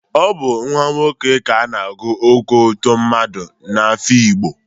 Ọ bụ nwa nwoke ka a na-agụ Oko tụmadị n'Ehụgbọ.